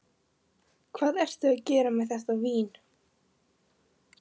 Hvað ertu að gera með þetta vín?